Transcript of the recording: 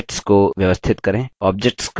objects को व्यवस्थित करें